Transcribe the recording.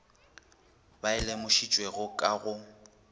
ba e lemošitšwego ka go